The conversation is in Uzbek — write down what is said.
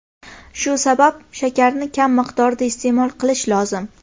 Shu sabab shakarni kam miqdorda iste’mol qilish lozim.